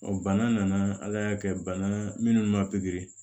bana nana ala y'a kɛ bana minnu ma pikiri